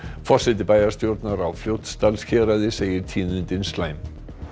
forseti bæjarstjórnar á Fljótsdalshéraði segir tíðindin slæm